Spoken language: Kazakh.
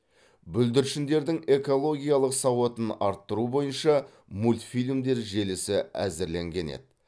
бүлдіршіндердің экологиялық сауатын арттыру бойынша мультфильмдер желісі әзірленген еді